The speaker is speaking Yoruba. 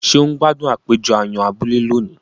Ṣe o n gbádùn àpéjọ àyàn abúlé lóni?